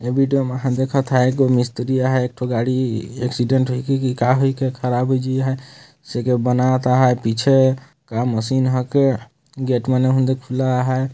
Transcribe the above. यह वीडियो मे हम देखता ह य मिस्त्री अहाय एक ठो गाड़ी एक्सीडेंट होइ के की का होय क के खराब होइ जी है स के बनावत अहय पीछे का मशीन ह के गेट मन ओहंदे खुला आहय।